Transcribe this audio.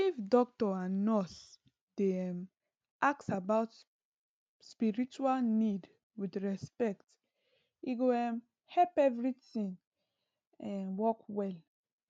if doctor and nurse dey um ask about spiritual need with respect e go um help everything um work well